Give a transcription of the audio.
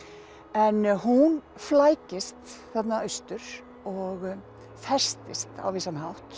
en hún flækist þarna austur og festist á vissan hátt